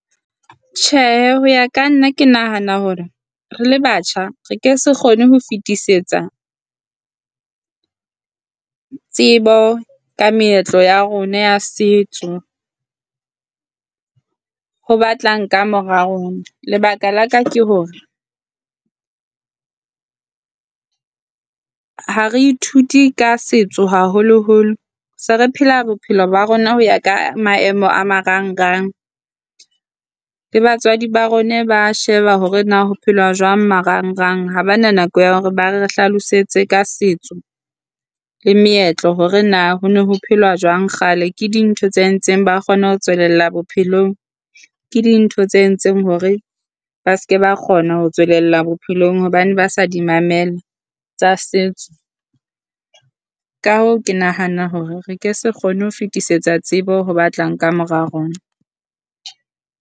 Tjhe, ho ya ka nna ke nahana hore re le batjha, re ke se kgone ho fetisetsa tsebo ka meetlo ya rona ya setso ho batlang kamora rona. Lebaka la ka ke hore ha re ithute ka setso haholoholo se re phela bophelo ba rona ho ya ka maemo a marang rang. Le batswadi ba rona, ba sheba hore na ho phela jwang marang rang hobana nako ya hore ba re hlalosetse ka setso le meetlo hore na ho na ho phelwa jwang kgale. Ke dintho tse ntseng ba kgone ho tswelella bophelong ke dintho tse entseng hore ba seke ba kgona ho tswelella bophelong hobane ba sa di mamela tsa setso. Ka hoo, ke nahana hore re ke se kgone ho fetisetsa tsebo ho ba tlang ka mora rona.